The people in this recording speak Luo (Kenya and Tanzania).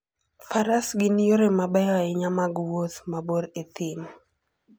Faras gin yore mabeyo ahinya mag wuoth mabor e thim.